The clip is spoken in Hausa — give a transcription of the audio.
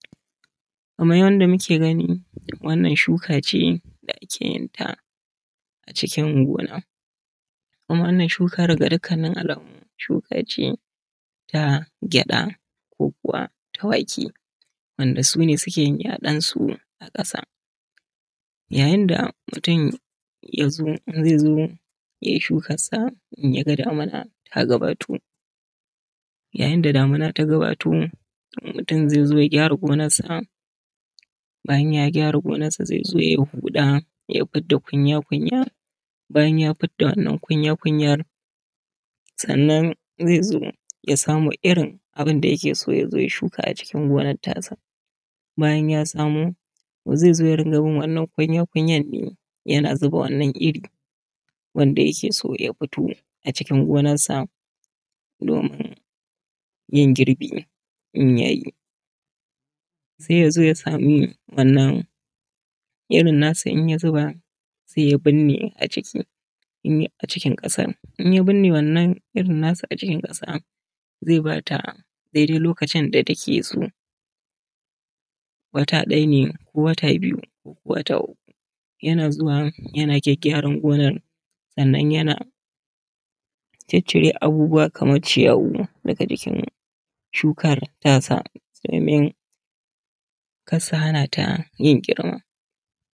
Kamar yadda muke gani wannan shuka ce da ake yin ta a cikin gona kuma wannan shukan da dukkan alamu shuka ce ta gyada ko kuwa wake, wandan sune sukeyin yadon su a kasayayinda mutum yaza zaizo yay shukassa in yaga damuna ta gabato. Yayain da damuna ta gabato mutum zai zo ya gyara gonarsa, bayan ya gyra gonarsa zaizo yai hudada kunya kunya, bayan ya fidda wannan kunya kunyar sannan zaizo yamo irin abunda yakeso yazo ya shuka a cikin gonar ta sa. bayan ya samo, zai zo yadinga bin wannan kunya kunyar ne yana zuba wannan iri wanda yake so ya fito acikin gonarsa yin girbi inya yi sai yazo yami wannan irin nasa in ya zuba, sai ya binne aciki acikin kasar. in ya binne wannan irin nasa a cikin kasarzai ba ta daidai lokacin da takeso, wata dayane ko wata biyu ko wata uku, yana zuwa yna gyagyaran gonar sannan yana ciccire abubuwa kamar ciyawu daga jikin shukar tasa domin kar su hana ta yin girma.